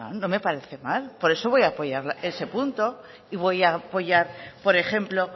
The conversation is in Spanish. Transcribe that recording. no me parece mal por eso voy a apoyar ese punto y voy a apoyar por ejemplo